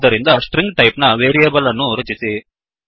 ಆದ್ದರಿಂದ string type ನ variable ಅನ್ನು ರಚಿಸಿ